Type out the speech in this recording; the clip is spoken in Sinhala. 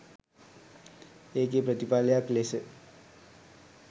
ඒකෙ ප්‍රතිඵලයක් ලෙස